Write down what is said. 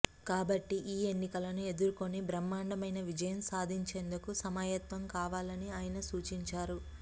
కాబట్టి ఈ ఎన్నికలను ఎదుర్కొని బ్రహ్మండమైన విజయం సాధించేందుకు సమాయత్తం కావాలని ఆయన సూచించారు